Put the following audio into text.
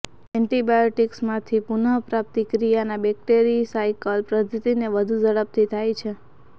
એન્ટીબાયોટીક્સમાંથી પુનઃપ્રાપ્તિ ક્રિયાના બેક્ટેરિસાઈકલ પદ્ધતિને વધુ ઝડપથી થાય છે